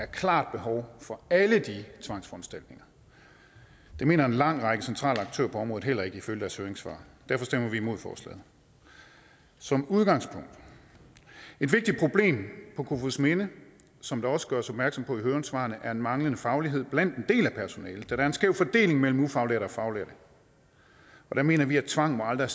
klart behov for alle de tvangsforanstaltninger det mener en lang række centrale aktører på området heller ikke ifølge deres høringssvar derfor stemmer vi imod forslaget som udgangspunkt et vigtigt problem på kofoedsminde som der også gøres opmærksom på i høringssvarene er en manglende faglighed blandt en del af personalet der er en skæv fordeling mellem ufaglærte og faglærte der mener vi at tvang aldrig